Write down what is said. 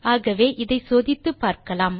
ஆகவே இதை சோதித்துப்பார்க்கலாம்